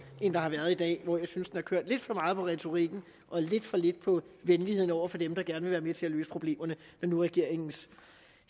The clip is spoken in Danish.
end der har været i dag hvor jeg synes det har kørt lidt for meget på retorikken og lidt for lidt på venligheden over for dem der gerne vil være med til at løse problemerne når nu regeringens